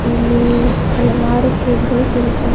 ಇಲ್ಲಿ ಹಲವಾರು ಕೇಕ್ ಗಳು ಸಿಗುತ್ತವೆ.